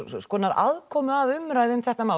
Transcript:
aðkomu að umræðunni um þetta mál